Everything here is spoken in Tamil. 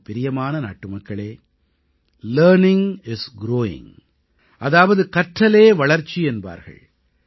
எனக்குப் பிரியமான நாட்டுமக்களே லர்னிங் இஸ் குரூவிங் அதாவது கற்றலே வளர்ச்சி என்பார்கள்